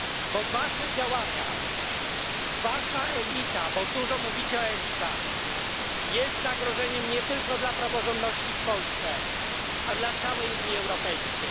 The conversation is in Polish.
bo wasze działania, wasza elita, bo dużo mówicie o elitach, jest zagrożeniem nie tylko dla praworządności w Polsce, ale dla całej Unii Europejskiej.